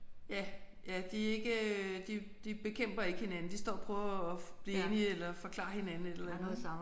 Ja ja de er ikke de de bekæmper ikke hinanden. De står og prøver at blive enige eller forklare hinanden et eller andet